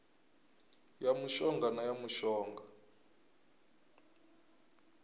ya mushonga na ya mushonga